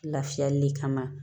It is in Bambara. Lafiyali kama